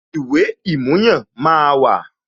Ìwé ìmúyàn máa wà